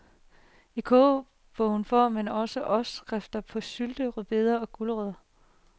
I kogebogen får man også opskrifterne på syltede , rødbeder og gulerødder.